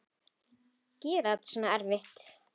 Gera þetta svona erfitt.